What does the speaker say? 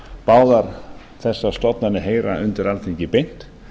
báðar þessar stofnanir heyra undir alþingi beint